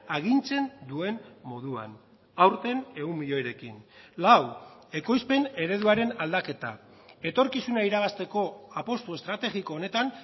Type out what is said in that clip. agintzen duen moduan aurten ehun milioirekin lau ekoizpen ereduaren aldaketa etorkizuna irabazteko apustu estrategiko honetan